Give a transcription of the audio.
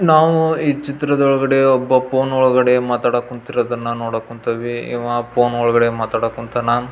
ನಾವು ಈ ಚಿತ್ರದೊಳ್ಗಡೆ ಒಬ್ಬ ಫೋನ್ ಒಳಗಡೆ ಮಾತಾಡಕ್ಕ್ ಕೂತಿರೋದನ್ನ ನೋದಕತೀವಿ. ಇವ ಫೋನ್ ಒಳಗಡೆ ಮಾತಾಡಕುಂತಾನ.